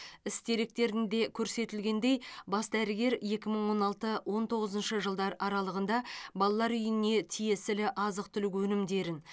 іс деректерінде көрсетілгендей бас дәрігер екі мың он алты он тоғызыншы жылдар аралығында балалар үйіне тиесілі азық түлік өнімдерін